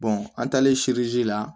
an taalen la